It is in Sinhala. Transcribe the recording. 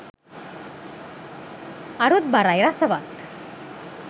අරුත්බරයි රසවත්